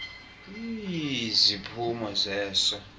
iii ziphumo zeso